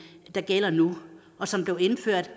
der gælder nu og som blev indført